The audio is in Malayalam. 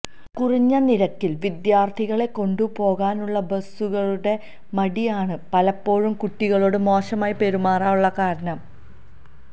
കുറഞ്ഞ നിരക്കിൽ വിദ്യാർഥികളെ കൊണ്ടുപോകാനുള്ള ബസുകാരുടെ മടിയാണ് പലപ്പോഴും കുട്ടികളോട് മോശമായി പെരുമാറാനുള്ള കാരണം